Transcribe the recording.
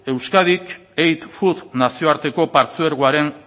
euskadik nazioarteko partzuergoaren